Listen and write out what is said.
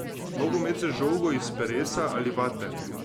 Nogomet z žogo iz peresa ali vate.